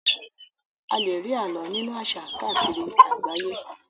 A lè rí alo nínú àṣà káàkiri àgbáyé.